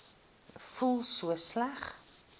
voel so sleg